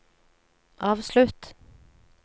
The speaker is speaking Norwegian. avslutt